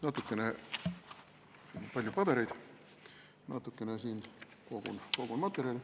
Mul on siin natukene palju pabereid, natukene kogun materjali ...